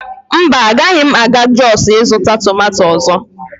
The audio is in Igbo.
mba, agaghị m aga jos ịzụta tomato ọzọ